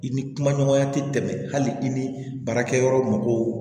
I ni kuma ɲɔgɔnya ti tɛmɛ hali i ni baarakɛ yɔrɔ mɔgɔw